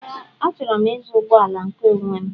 Ee, achọrọ m ịzụ ụgbọala nke onwé m